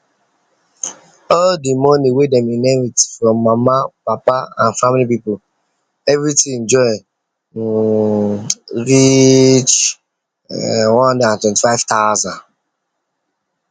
all the money wey dem inherit from mama papa and family people everything join um reach um one hundred and twenty five thousnd